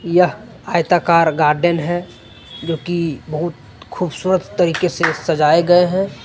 यह आयताकार गार्डन है जो की बहुत खूबसूरत तरीके से सजाए गए हैं।